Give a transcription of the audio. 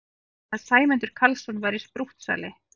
Að Sæmundur Karlsson væri sprúttsali!